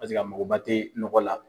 Paseke a mɔgɔ ba te nɔgɔ la.